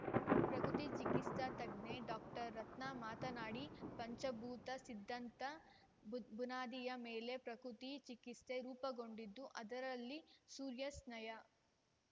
ಪ್ರಕೃತಿ ಚಿಕಿತ್ಸಾ ತಜ್ಞೆ ಡಾಕ್ಟರ್ ರತ್ನಾ ಮಾತನಾಡಿ ಪಂಚಭೂತ ಸಿದ್ಧಾಂತದ ಭುದ್ ಬುನಾದಿಯ ಮೇಲೆ ಪ್ರಕೃತಿ ಚಿಕಿತ್ಸೆ ರೂಪುಗೊಂಡಿದ್ದುಅದರಲ್ಲಿ ಸೂರ್ಯ ಸ್ನಾಯ